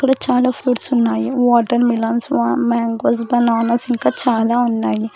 ఇక్కడ చాలా ఫ్రూట్స్ ఉన్నాయి వాటర్ మిలన్ మ్యాంగోస్ బనానాస్ ఇంకా చాలా ఉన్నాయి.